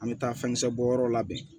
An bɛ taa fɛn kisɛ bɔ yɔrɔ labɛn